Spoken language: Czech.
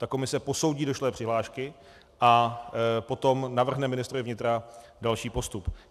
Ta komise posoudí došlé přihlášky a potom navrhne ministrovi vnitra další postup.